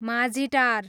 Majhitar